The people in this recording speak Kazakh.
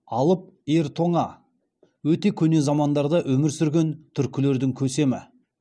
алып ер тоңа өте көне замандарда өмір сүрген түркілердің көсемі